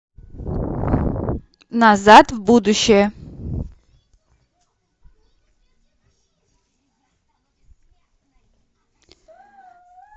назад в будущее